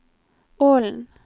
Ålen